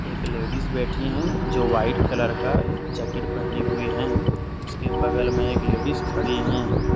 एक लेडिस बैठी है जो वाइट कलर का जैकेट पहनी हुई है उसके बगल मे एक लेडिस खड़ी है।